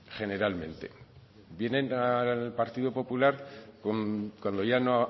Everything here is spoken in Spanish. generalmente vienen al partido popular cuando ya no